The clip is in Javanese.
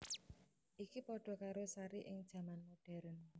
Iki padha karo Sari ing jaman modern